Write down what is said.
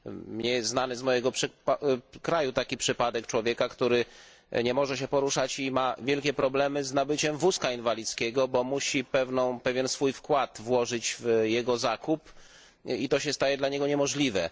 Znany jest mi z mojego kraju taki przypadek człowieka, który nie może się poruszać i ma wielkie problemy z nabyciem wózka inwalidzkiego, bo musi pewien swój wkład włożyć w jego zakup i to się staje dla niego niemożliwe.